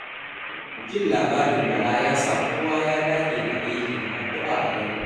jin labarin Bala ya sa Kowa ya dage da aiki da addu'a a garin.